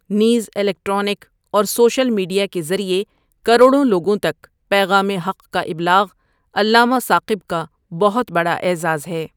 نیز الیکٹرانک اور social media کے ذریعے کروڑوں لوگوں تک پیغام حق کا ابلاغ علامہ ثاقب کا بہت بڑا اعزاز ہے۔